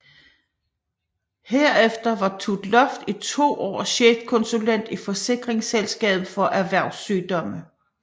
Herefter var Tut Loft i to år chefkonsulent i Forsikringsselskabet for Erhvervssygdomme